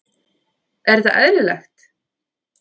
Er þetta eðlilegt???